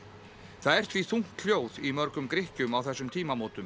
það er því þungt hljóð í mörgum Grikkjum á þessum tímamótum